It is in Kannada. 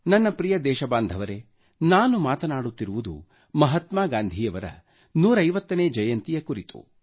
ನನ್ನ ಪ್ರಿಯ ದೇಶಬಾಂಧವರೇ ನಾನು ಮಾತನಾಡುತ್ತಿರುವುದು ಮಹಾತ್ಮಾ ಗಾಂಧೀಯವರ 150 ನೇ ಜಯಂತಿ ಕುರಿತು